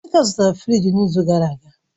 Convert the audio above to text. Emeka zụtara fịrij n'izu gara aga